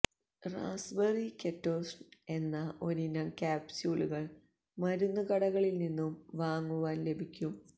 raspberry ketones എന്ന ഒരിനം ക്യാപ്സൂളുകള് മരുന്നുകടകളില് നിന്നും വാങ്ങുവാന് ലഭിക്കും